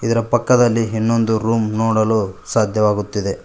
ಇದರ ಪಕ್ಕದಲ್ಲಿ ಇನ್ನೊಂದು ರೂಮ್ ನೋಡಲು ಸಾಧ್ಯವಾಗುತ್ತಿದೆ.